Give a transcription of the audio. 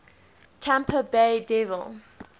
tampa bay devil